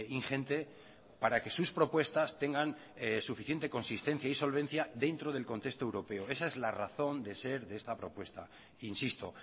ingente para que sus propuestas tengan suficiente consistencia y solvencia dentro del contexto europeo esa es la razón de ser de esta propuesta insisto